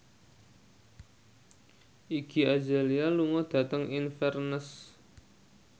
Iggy Azalea lunga dhateng Inverness